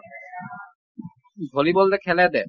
volleyball যে খেলে যে